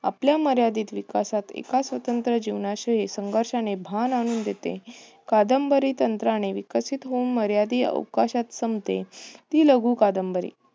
आपल्या मर्यादित विकासात एका स्वतंत्र जीवनाचे एक संघर्षाने भान आणून देते. कादंबरी तंत्राने विकसित होऊन मर्यादित अवकाशात संपते. ती लघु कादंबरी